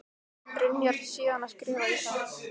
Byrjar síðan að skrifa í þá.